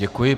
Děkuji.